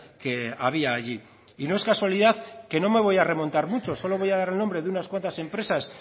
que había allí y no es casualidad que no me voy a remontar mucho solo voy a dar el nombre de unas cuantas empresas